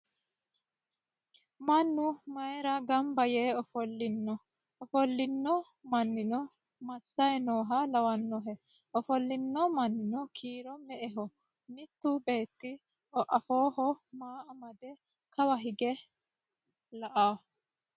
Mannu mayiira gamba yee ofollino? Ofollino mannino massayi nooha lawannohe? Ofollino mannino kiiro me"eho? Mittu beetti afooho maa amade kawa hige la"awo?